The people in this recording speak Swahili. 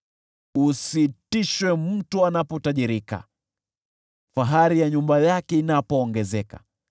Usitishwe mtu anapotajirika, fahari ya nyumba yake inapoongezeka,